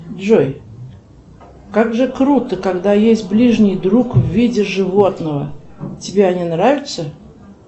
джой как же круто когда есть ближний друг в виде животного тебе они нравятся